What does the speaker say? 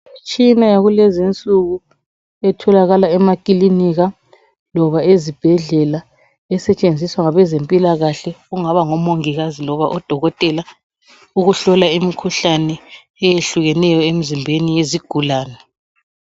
Imtshina wakulezi insuku. Etholakala emakilinika loba ezibhedlela .Esetshenziswa ngomongikazi loba dokotela ukuhlola imikhuhlane eyehlukeneyo emzimbeni wazigulane.